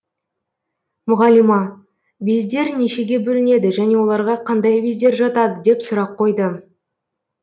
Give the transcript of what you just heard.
мұғалима бездер нешеге бөлінеді және оларға қандай бездер жатады деп сұрақ қойды